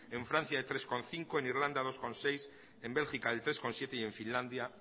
en francia el tres coma cinco en irlanda el dos coma seis en bélgica el tres coma siete y en finlandia